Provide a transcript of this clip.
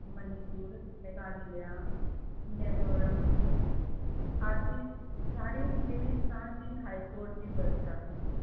ਮਨੀਪੁਰ, ਮੇਘਾਲਿਆ, ਮੈਜੋਰਮ ਆਦਿ ਸਾਂਝੀ ਹਾਈਕੋਰਟ ਦੀ ਵਿਵਸਥਾ ਹੈ।